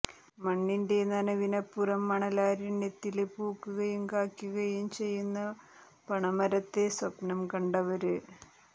മണ്ണിന്റെ നനവിനപ്പുറം മണലാരണ്യത്തില് പൂക്കുകയും കായ്ക്കുകയും ചെയ്യുന്ന പണമരത്തെ സ്വപ്നം കണ്ടവര്